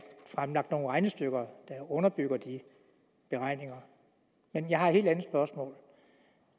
fremlagt nogen regnestykker der underbygger de beregninger men jeg har et helt andet spørgsmål